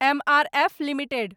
M R F limited